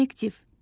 Kollektiv.